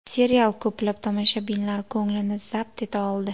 Serial ko‘plab tomoshabinlar ko‘nglini zabt eta oldi.